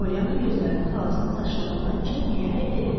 Polyanna gözlərini xalasının saçlarından çəkməyərək dedi: